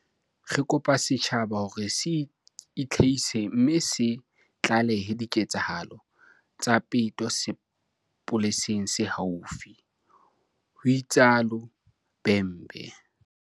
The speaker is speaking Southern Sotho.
"Re kopa setjhaba ho re se itlhahise mme se tlalehe diketsahalo tsa peto sepoleseng se haufi," ho itsalo Bhembe.